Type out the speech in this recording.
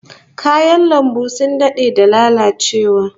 Kayan lambun sun dade da lalacewa